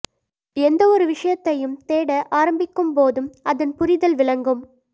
எந்த ஒரு விஷயத்தையும் தேட ஆரம்பிக்கும்போதும் அதன் புரிதல் விளங்கும்